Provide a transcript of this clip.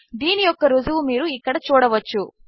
దీనియొక్కరుజువుమీరుఇక్కడచూడవచ్చు